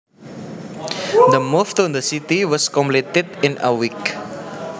The move to the city was completed in a week